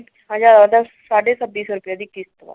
ਸਾਡੇ ਛੱਬੀ ਸੋ ਰੁਪਏ ਦੀ ਕਿਸਤ ਏ।